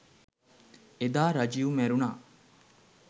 එදා රජිව් මැරුණා